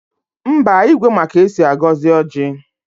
Mba, Igwe ma ka esi agọzi ọjị